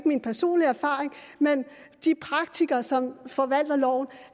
min personlige erfaring men de praktikere som forvalter loven